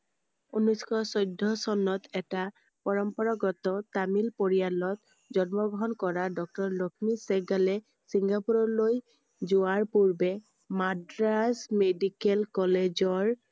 ঊনৈছ শ চৈধ্য় চনত এটা পৰম্পৰাগত তামিল পৰিয়ালত জন্ম গ্ৰহণ কৰা doctor লক্ষ্মী চেহ্গালে চিঙ্গাপুৰলৈ যোৱাৰ পূৰ্বে মাদ্ৰাজ medical college ৰ